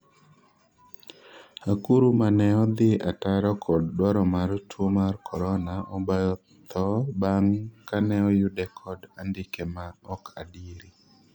Akuru 'mane odhi ataro kod dwaro mar tuo mar korona obayo tho bang' kane oyude kod andike ma ok adieri